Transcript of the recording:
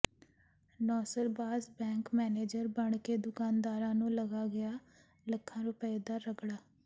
ਨੌਸਰਬਾਜ਼ bank manager ਬਣ ਕੇ ਦੁਕਾਨਦਾਰਾਂ ਨੂੰ ਲਗਾ ਗਿਆ ਲੱਖਾਂ ਰੁਪਏ ਦਾ ਰਗੜਾ